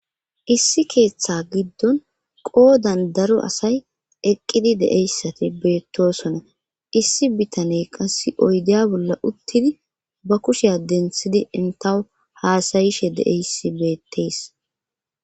issi keeththa giddon qoodan daro asay eqqidi de'eyssati beettosona issi bitaney qassi oyde bolla uttidi ba kushiya denthidi entawu haasayishe de'eyssi beettees